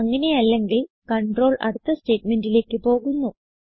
അങ്ങനെയല്ലെങ്കിൽ control അടുത്ത സ്റ്റേറ്റ്മെന്റിലേക്ക് പോകുന്നു